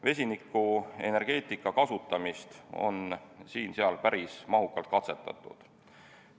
Vesinikuenergeetika kasutamist on siin-seal päris mahukalt katsetatud.